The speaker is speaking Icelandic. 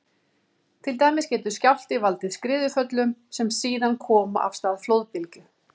Til dæmis getur skjálfti valdið skriðuföllum sem síðan koma af stað flóðbylgju.